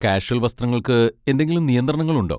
Casual വസ്ത്രങ്ങൾക്ക് എന്തെങ്കിലും നിയന്ത്രണങ്ങളുണ്ടോ?